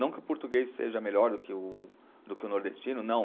Não que o português seja melhor do que o, do que o nordestino, não.